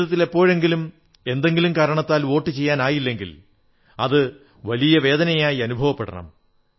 ജീവിതത്തിൽ എപ്പോഴെങ്കിലും എന്തെങ്കിലും കാരണത്താൽ വോട്ടു ചെയ്യാനായില്ലെങ്കിൽ അത് വലിയ വേദനയായി അനുഭവപ്പെടണം